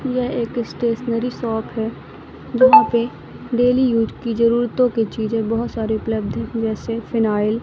यह एक stationery shop है जहां पे डेली यूज की जरूरतो की चीजे बहोत सारी उपलब्ध है जैसे फिनायल --